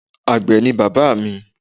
Àgbẹ̀ ni bàbá mi